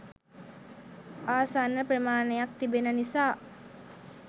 ආසන්න ප්‍රමාණයක් තිබෙන නිසා.